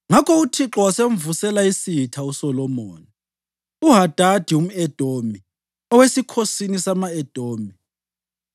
Ngakho uThixo wasemvusela isitha uSolomoni, uHadadi umʼEdomi owesikhosini sama-Edomi.